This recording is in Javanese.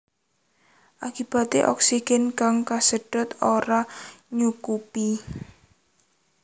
Akibaté oksigen kang kasedhot ora nyukupi